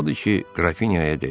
Odur ki, Qrafinyaya dedi: